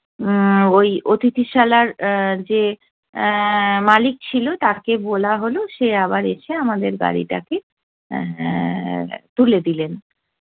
উম্ম ওই অতিথিশালার যে এ্যা মালিক ছিলো, তাকে বলা হলো সে আবার এসে আমাদের গাড়িটাকে এ্যা তুলে দিলেন।